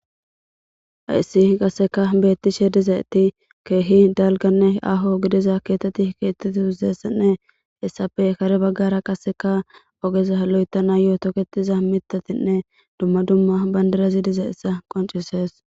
Hayssi qasekka beettishe dizaytti keehi dalganne aaho gidiza keetatti keexxeti dizeyssanne hessappe kare baggara qaseka oogeza lo'etanayo tooketiza miittatinne dumma dumma bandirazi dizayssa qonccises